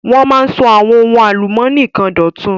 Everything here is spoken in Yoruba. Wọ́n máa ń sọ àwọn ohun álùmónì kan dọ̀tun.